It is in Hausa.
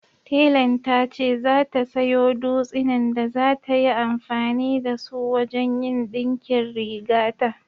Telan ta ce za ta sayo dutsinan da za ta yi amfani da su wajen yin ɗinkin rigata